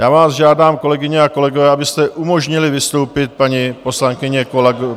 Já vás žádám, kolegyně a kolegové, abyste umožnili vystoupit paní poslankyni Ožanové.